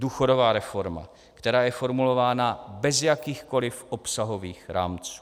Důchodová reforma, která je formulována bez jakýchkoliv obsahových rámců.